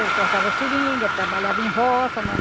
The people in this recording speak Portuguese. Ele cortava seringa, trabalhava em roça né.